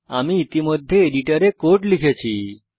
আমি ইতিমধ্যে এডিটরে কোড লিখেছি